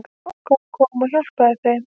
Gógó kom og hjálpaði þeim.